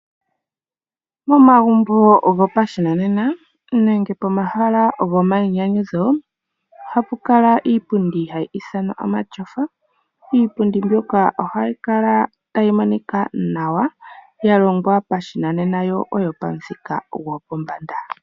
Momagumbo gopashinanena nenge pomahala go mayinyanyudho ohapu kala iipundi hayi ithanwa omatyofa. Iipundi mbyoka ohayi kala tayi monika nawa ya longwa pashinanena yo oyo pamuthika gwopombanda.